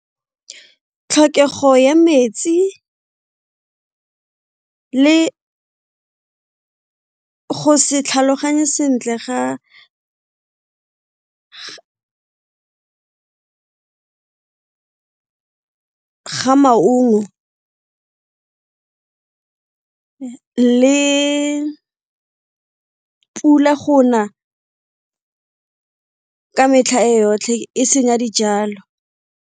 Tlhokego ya metsi vle go se tlhaloganye sentle ga ga maungo le pula go na ka metlha e yotlhe e senya dijalo.